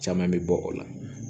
Caman bɛ bɔ o la